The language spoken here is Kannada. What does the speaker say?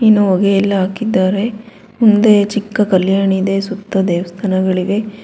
ಅನ್ನು ಹೊಗೆ ಎಲ್ಲಾ ಹಾಕಿದಾರೆ ಮುಂದೆ ಚಿಕ್ಕ ಕಲ್ಯಾಣಿ ಇದೆ ಸುತ್ತ ದೇವಸ್ಥಾನಗಳಿವೆ.